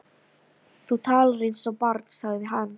Þú talar eins og barn sagði hann.